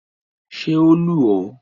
Ṣé o lù ọ́?